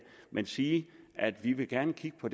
men sige at vi vi gerne vil kigge på